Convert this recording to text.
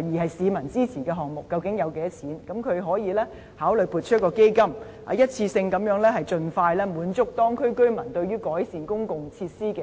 並獲市民支持的項目，究竟需款若干，然後政府可以考慮撥款成立基金，一次過盡快滿足當區居民對於改善公共設施的需求。